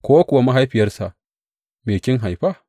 Ko kuwa ga mahaifiyarsa, Me kin haifa?’